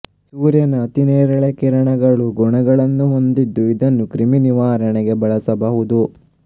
ಸೂರ್ಯನ ಅತಿನೇರಳೆ ಕಿರಣಗಳು ಗುಣಗಳನ್ನು ಹೊಂದಿದ್ದು ಇದನ್ನು ಕ್ರಿಮಿನಿವಾರಣೆಗೆ ಬಳಸಬಹುದು